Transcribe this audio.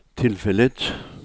tilfellet